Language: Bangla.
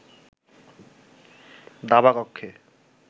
দাবা কক্ষে